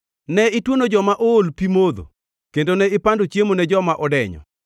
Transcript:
Ne ituono joma ool pi modho kendo ne ipando chiemo ne joma odenyo,